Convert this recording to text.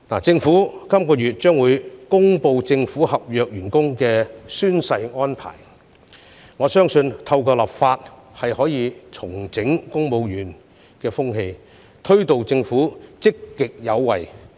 政府將會在本月公布政府合約員工的宣誓安排，我相信透過立法可以重整公務員風氣，推動政府積極有為。